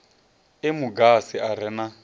emu agasi a re na